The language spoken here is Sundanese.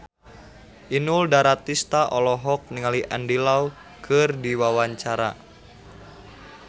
Inul Daratista olohok ningali Andy Lau keur diwawancara